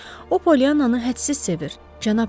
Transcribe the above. O Pollyanannı hədsiz sevir, Cənab Tom.